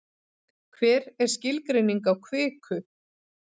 hver er skilgreining á kviku